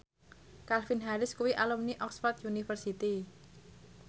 Calvin Harris kuwi alumni Oxford university